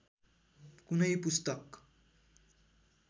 कुनै पुस्तक